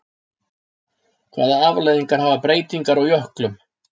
Hvaða afleiðingar hafa breytingar á jöklum?